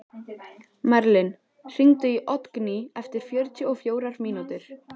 Merlin, hringdu í Oddgný eftir fjörutíu og fjórar mínútur.